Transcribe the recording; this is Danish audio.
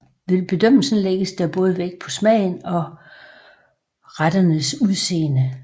Ved bedømmelsen lægges der både vægt på smagen og på retternes udseende